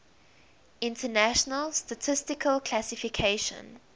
international statistical classification